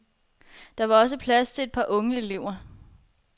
Der var også plads til et par unge elever.